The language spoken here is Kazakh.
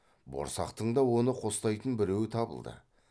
борсақтың да оны қостайтын біреуі табылды